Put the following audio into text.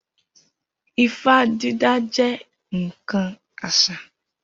Ifá dídá jẹ́ ǹkan àṣà